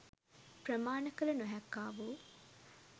ප්‍රමාණ කළ නොහැක්කා වූ